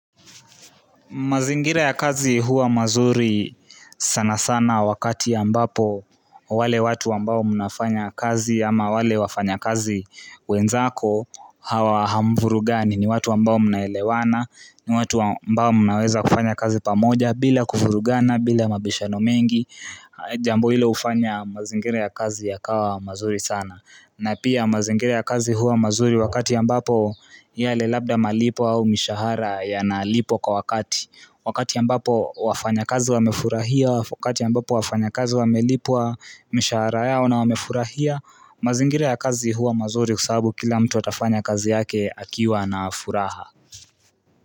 Mazingira ya kazi huwa mazuri sana sana wakati ambapo wale watu ambao mnafanya kazi ama wale wafanya kazi wenzako hamuvurugani, ni watu ambao mnaelewana, ni watu ambao mnaweza kufanya kazi pamoja bila kuvurugana, bila mabishano mengi jambo hili hufanya mazingira ya kazi yakawa mazuri sana. Na pia mazingire ya kazi huwa mazuri wakati ambapo yale labda malipo au mishahara yanalipwa kwa wakati. Wakati ambapo wafanyakazi wamefurahia, wakati ambapo wafanya kazi wamelipwa mishahara yao na wamefurahia Mazingire ya kazi huwa mazuri kwa sababu kila mtu atafanya kazi yake akiwa na furaha.